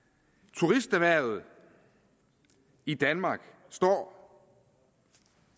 turisterhvervet i danmark står